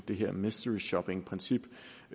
det her mystery shopping princip